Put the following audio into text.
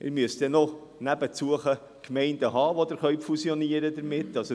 Man müsste nebenan noch Gemeinden haben, mit denen man fusionieren könnte.